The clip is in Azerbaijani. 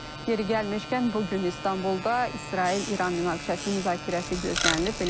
Yeri gəlmişkən, bu gün İstanbulda İsrail-İran münaqişəsinin müzakirəsi gözlənilir.